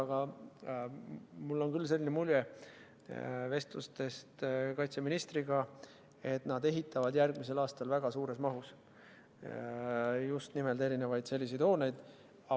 Aga mul on küll vestlustest kaitseministriga jäänud selline mulje, et nad ehitavad järgmisel aastal väga suures mahus just nimelt erinevaid selliseid hooneid.